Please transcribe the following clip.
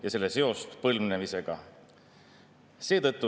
Me ei näe sotsiaaldemokraatide puhul sellist võitlust kahjuks tervishoiu heaks.